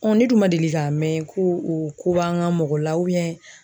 ne dun ma deli ka mɛn ko o ko b'an ka mɔgɔ la